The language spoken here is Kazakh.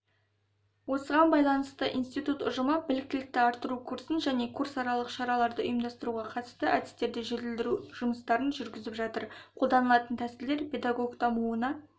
осыған байланысты институт ұжымы біліктілікті арттыру курсын және курсаралық шараларды ұйымдастыруға қатысты әдістерді жетілдіру жұмыстарын жүргізіп жатыр қолданылатын тәсілдер педагог дамуына